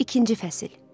İkinci fəsil.